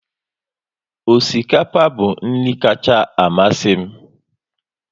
Osikapa bụ nri kacha amasị m